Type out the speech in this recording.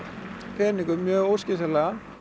peningum mjög óskynsamlega